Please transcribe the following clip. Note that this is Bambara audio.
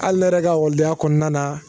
hali ne yɛrɛ ka ekɔlidenya kɔnɔna na